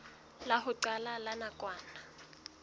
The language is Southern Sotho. la ho qala la nakwana